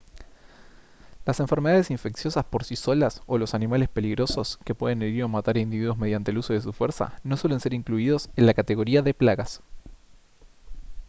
las enfermedades infecciosas por sí solas o los animales peligrosos que pueden herir o matar individuos mediante el uso de su fuerza no suelen ser incluidos en la categoría de plagas